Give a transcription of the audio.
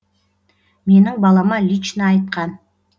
менің балама лично айтқан